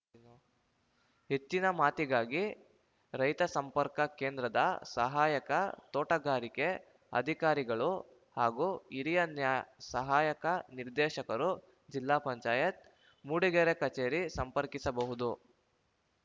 ಹೆಚ್ಚಿನ ಮಾತಿಗಾಗಿ ರೈತ ಸಂಪರ್ಕ ಕೇಂದ್ರದ ಸಹಾಯಕ ತೋಟಗಾರಿಕೆ ಅಧಿಕಾರಿಗಳು ಹಾಗೂ ಹಿರಿಯ ನ್ಯಾ ಸಹಾಯಕ ನಿರ್ದೇಶಕರು ಜಿಲ್ಲಾ ಪಂಚಾಯತ್ ಮೂಡಿಗೆರೆ ಕಚೇರಿ ಸಂಪರ್ಕಿಸಬಹುದು